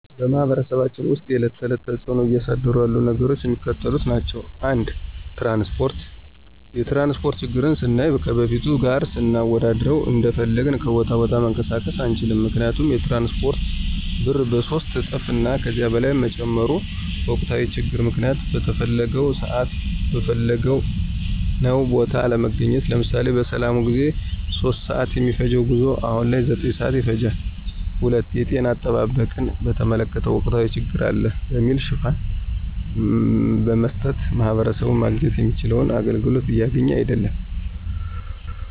በማህበረሰባችን ውስጥ የዕለት ተዕለት ተፅዕኖ እያሳደሩ ያሉ ነገሮች የሚከተሉት ናቸው። ፩) ትራንስፓርት፦ የትራንስፓርት ችግርን ስናይ ከበፊቱ ጋር ስናወዳድረው እንደፈለግን ከቦታ ቦታ መንቀሳቀስ አንችልም ምክንያቱም የትራንስፓርቱ ብር በሶስት እጥፍ እና ከዚያ በላይ መጨመሩ፤ በወቅታዊ ችግር ምክንያት በተፈለገው ስዓት በፈለግንው ቦታ አለመገኘት። ለምሳሌ፦ በሰላሙ ጊዜ 3:00 ስዓት የሚፈጅው ጉዞ አሁን ላይ 9:00 ስዓት ይፈጃል። ፪) የጤና አጠባበቅን በተመለከተ ወቅታዊ ችግር አለ በሚል ሽፋን በመስጠት ማህበረሰቡ ማግኘት የሚችለውን አገልግሎት እያገኘ አይድለም።